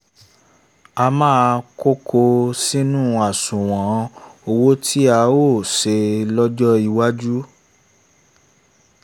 a máa ko ko sínú àṣùwọ̀n owó tí a óò ṣe lọ́jọ́ iwájú